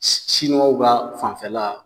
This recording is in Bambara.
ba fanfɛla